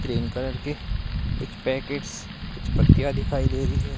Green colour के कुछ packets कुछ पत्तियां दिखाई दे रही है।